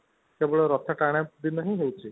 କେବଳ ରଥ ଟଣା ଦିନ ହିଁ ହୋଉଛି